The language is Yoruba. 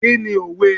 Kí ni òwe?